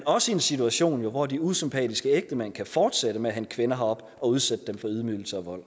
også i en situation hvor de usympatiske ægtemænd kan fortsætte med at hente kvinder herop og udsætte dem for ydmygelse og vold